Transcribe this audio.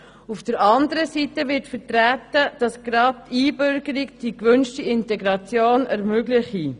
Auf der anderen Seite wird vertreten, dass gerade die Einbürgerung die erwünschte Integration ermögliche.